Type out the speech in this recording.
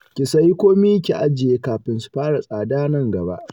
Ki sayi komai ki ajiye kafin su fara tsada a nan gaba